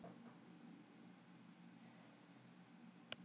Í upphafi voru því augljóslega jafnmargar rendur og stjörnur.